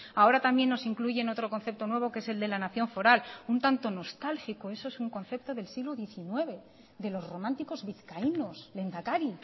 ahora también nos incluyen otro concepto nuevo que es el de la nación foral un tanto nostálgico eso es un concepto del siglo diecinueve de los románticos vizcaínos lehendakari